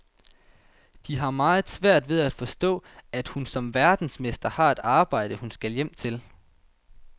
De har meget svært ved at forstå, at hun som verdensmester har et arbejde, hun skal hjem til.